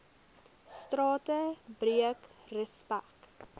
strate breek respek